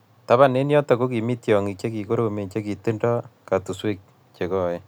Taban ab yoto ko kimii tiong'ik che kororonen che kitindoi katuswek che koen